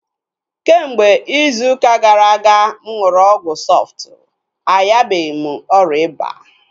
Kemgbe izu ụka gara aga mụ nụrụ ọgwụ Sọftu